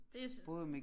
Det så